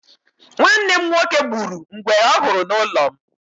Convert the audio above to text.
Nwanne m nwoke gburu ngwere ọ hụrụ n'ụlọ m.